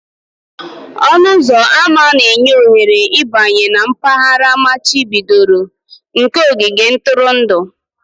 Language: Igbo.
Ọnụ ụzọ ámá na-enye ohere ịbanye na mpaghara amachibidoro nke ogige ntụrụndụ.